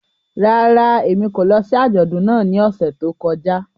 Rárá, Emi ko lọ si ajọdun náà ni ọsẹ to kọja.